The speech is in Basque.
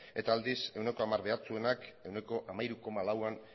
eta aldiz ehuneko hamar behartsuenak ehuneko hamairu koma lauan